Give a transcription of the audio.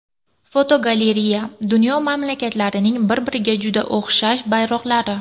Fotogalereya: Dunyo mamlakatlarining bir-biriga juda o‘xshash bayroqlari.